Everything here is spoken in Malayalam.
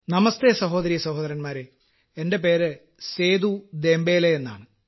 നമസ്തേ സഹോദരീ സഹോദരന്മാരേ എന്റെ പേര് സേദൂ ദേംബലേ എന്നാണ്